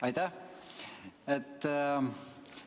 Aitäh!